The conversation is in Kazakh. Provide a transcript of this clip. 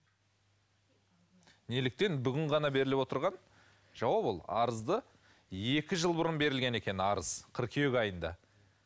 неліктен бүгін ғана беріліп отырған жауап ол арызды екі жыл бұрын берілген екен арыз қыркүйек айында